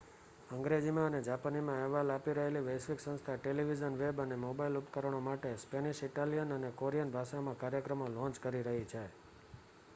અંગ્રેજીમાં અને જાપાનીમાં અહેવાલ આપી રહેલી વૈશ્વિક સંસ્થા ટેલિવિઝન વેબ અને મોબાઇલ ઉપકરણો માટે સ્પેનિશ ઇટાલિયન અને કોરિયન ભાષામાં કાર્યક્રમો લૉન્ચ કરી રહી છે